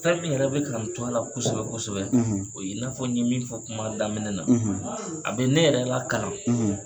Fɛn min yɛrɛ bɛ k'an to a la kosɛbɛ kosɛbɛ o ye i n'a fɔ n ye min fɔ kuma daminɛ na a bɛ ne yɛrɛ la karan.